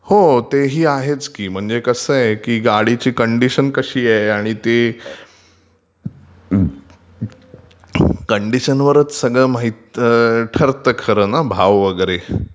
हो म्हणजे ते ही आहेच की. म्हणजे कसं आहे की गाडीची कंडीशन आहे आणि ती...कंडीशनवरचं सगळं खर तर ठरतं ना भाव वगैरे...